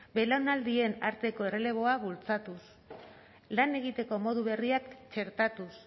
belaunaldien arteko erreleboa bultzatuz lan egiteko modu berriak txertatuz